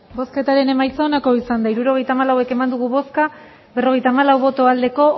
hirurogeita hamalau eman dugu bozka berrogeita hamalau bai